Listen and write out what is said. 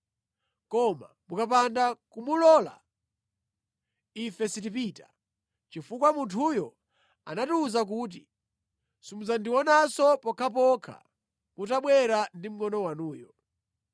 Koma mukapanda kumulola, ife sitipita, chifukwa munthuyo anatiwuza kuti, ‘Simudzandionanso pokhapokha mutabwera ndi mngʼono wanuyo.’ ”